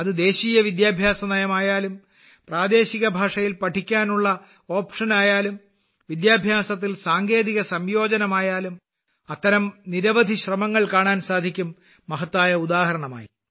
അത് ദേശീയ വിദ്യാഭ്യാസ നയമായാലും പ്രാദേശിക ഭാഷയിൽ പഠിക്കാനുള്ള ഓപ്ഷനായാലും വിദ്യാഭ്യാസത്തിൽ സാങ്കേതിക സംയോജനമായാലും അത്തരം നിരവധി ശ്രമങ്ങൾ കാണാൻ സാധിക്കും മഹത്തായ ഉദാഹരണമായി